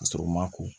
Ka sɔrɔ u ma ko